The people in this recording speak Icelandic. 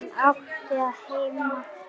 Hann átti að heita Skundi.